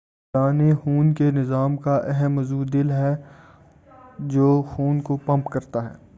دوران خون کے نظام کا اہم عضو دل ہے جو خون کو پمپ کرتا ہے